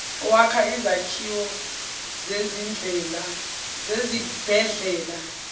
wakha izakhiwo zezibhedlela